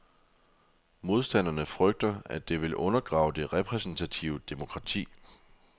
Modstanderne frygter, at det vil undergrave det repræsentative demokrati.